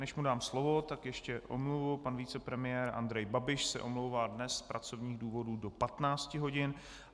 Než mu dám slovo, tak ještě omluvu: pan vicepremiér Andrej Babiš se omlouvá dnes z pracovních důvodů do 15 hodin.